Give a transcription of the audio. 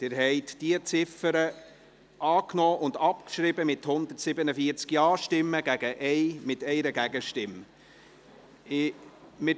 Sie haben die Ziffer 5 mit 147 Ja-Stimmen, 1 Nein-Stimme und ohne Enthaltungen angenommen und gleichzeitig abgeschrieben.